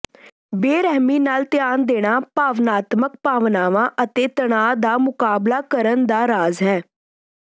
ਬੇਰਹਿਮੀ ਨਾਲ ਧਿਆਨ ਦੇਣਾ ਭਾਵਨਾਤਮਕ ਭਾਵਨਾਵਾਂ ਅਤੇ ਤਣਾਅ ਦਾ ਮੁਕਾਬਲਾ ਕਰਨ ਦਾ ਰਾਜ਼ ਹੈ